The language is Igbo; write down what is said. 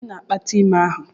Onye na-akpata ime ahụ?